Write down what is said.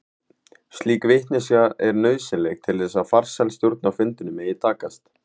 Slík vitneskja er nauðsynleg til þess að farsæl stjórn á fundinum megi takast.